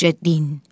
Bircə din.